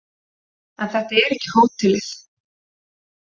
En þetta er ekki hótelið.